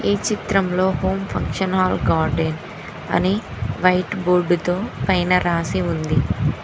ఈ చిత్రంలో Om function hall garden అని వైట్ బోర్డుతో పైన రాసి ఉంది.